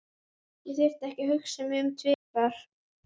Ég þurfti ekki að hugsa mig um tvisvar.